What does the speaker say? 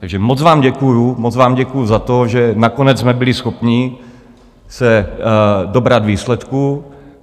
Takže moc vám děkuji, moc vám děkuji za to, že nakonec jsme byli schopni se dobrat výsledku.